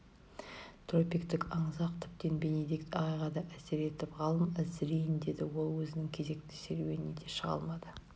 тропиктік аңызақ тіптен бенедикт ағайға да әсер етіп ғалым әлсірейін деді ол өзінің кезекті серуеніне де шыға алмады